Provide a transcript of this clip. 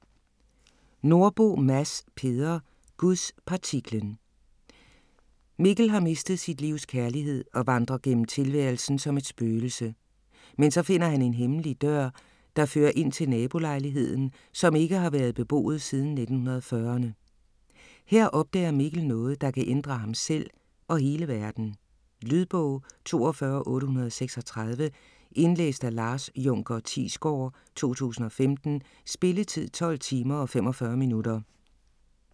Nordbo, Mads Peder: Gudspartiklen Mikkel har mistet sit livs kærlighed og vandrer gennem tilværelsen som et spøgelse. Men så finder han en hemmelig dør, der fører ind til nabolejligheden, som ikke har været beboet siden 1940'erne. Her opdager Mikkel noget, der kan ændre ham selv og hele verden. Lydbog 42836 Indlæst af Lars Junker Thiesgaard, 2015. Spilletid: 12 timer, 45 minutter.